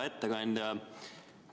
Hea ettekandja!